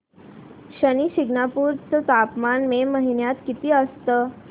शनी शिंगणापूर चं तापमान मे महिन्यात किती असतं